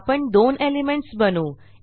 आपण दोन एलिमेंट्स बनवू